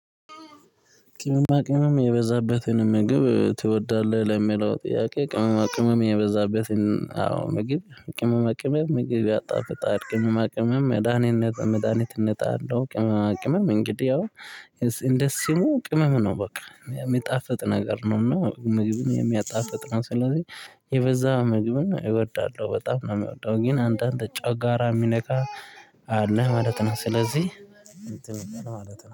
ቅመማ ቅመም የበዛበትን ምግብ ትወዳለህ ለሚለው ጥያቄ? ቅመማ ቅመም የበዛበትን አዎ ምግብ ቅመማ ቅመም ምግብ ያጣፍጣል ቅመማ ቅመም መድሃኒት መድሃኒትነት አለው ቅመማ ቅመም እንግዲህ ያው እንደ ስሙ ቅመም ነው። በቃ የሚጣፍጥ ነገር ነው እና ምግብን የሚያጣፍጥ ነው። ስለዚህ የበዛ ምግብን ነው እወዳለሁ በጣም ነው የሚወደው ግን አንዳንድ ጫጋራ የሚነከ አለ ማለት ነው። ስለዚህ